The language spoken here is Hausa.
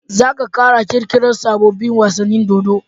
Zaka kara kirki rar sabobun wasanin dodo